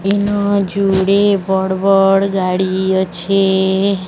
ଇନ ଯୁଡ଼େ ବଡ଼-ବଡ଼ ଗାଡ଼ି ଅଛି।